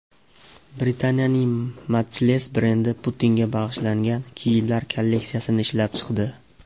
Britaniyaning Matchless brendi Putinga bag‘ishlangan kiyimlar kolleksiyasini ishlab chiqdi.